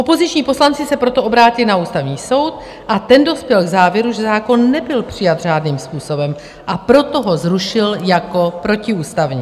Opoziční poslanci se proto obrátili na Ústavní soud a ten dospěl k závěru, že zákon nebyl přijat řádným způsobem, a proto ho zrušil jako protiústavní.